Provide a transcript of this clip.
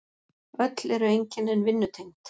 Öll eru einkennin vinnutengd.